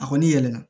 A kɔni yɛlɛma